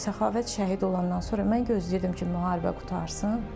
Səxavət şəhid olandan sonra mən gözləyirdim ki, müharibə qurtarsın.